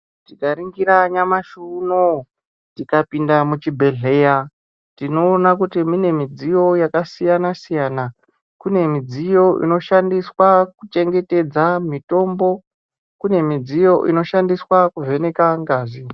Tika ningira nyamashi uno tika pinda muchi bhehleya tinoona kuti mine midziyo yakasiyana siyana kune midziyo inoshandiswa kuchengetedza mitombo kune midziyo inoshandiswa kuvheneka ngazi.